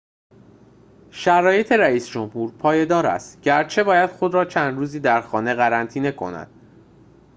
شرایط رئیس‌جمهور پایدار است گرچه باید خود را چند روزی در خانه قرنطینه کند